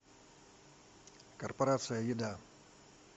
корпорация еда